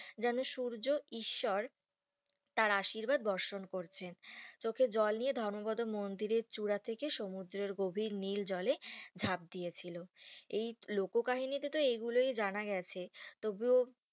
যেন সূর্য ঈশ্বর তার আশীর্বাদ বড়সড় করছে চোখের জল নিয়ে ধর্মপদ মন্দিররের চূড়া থেকে সমুদ্রের নীল জলে ঝাঁপ দিয়ে ছিল এই লোককাহিনিতে তো এগুলোই জানা গেছে তবুও